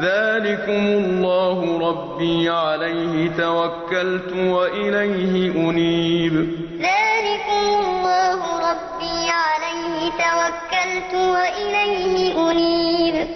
ذَٰلِكُمُ اللَّهُ رَبِّي عَلَيْهِ تَوَكَّلْتُ وَإِلَيْهِ أُنِيبُ وَمَا اخْتَلَفْتُمْ فِيهِ مِن شَيْءٍ فَحُكْمُهُ إِلَى اللَّهِ ۚ ذَٰلِكُمُ اللَّهُ رَبِّي عَلَيْهِ تَوَكَّلْتُ وَإِلَيْهِ أُنِيبُ